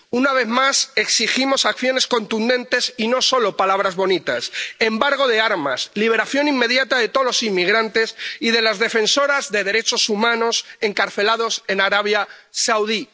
Una vez más exigimos acciones contundentes y no solo palabras bonitas embargo de armas, liberación inmediata de todos los inmigrantes y de las defensoras de derechos humanos encarcelados en Arabia Saudí.